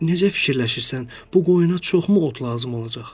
Necə fikirləşirsən, bu qoyuna çoxmu ot lazım olacaq?